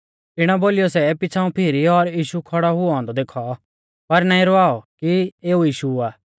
इणौ बोलीयौ सै पिछ़ाऊं फीरी और यीशु खौड़ौ हुऔ औन्दौ देखौ पर नाईं रवाउऔ कि एऊ यीशु आ